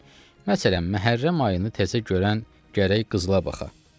Məsələn, Məhərrəm ayını təzə görən gərək qızıla baxa.